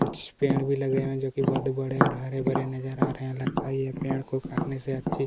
कुछ पेड़ भी लगे हुए हैं जोकी बहोत ही बड़े और हरे-भरे नज़र आ रहे हैं लगता हैं ये पेड़ को काटने से अच्छे--